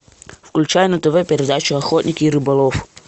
включай на тв передачу охотник и рыболов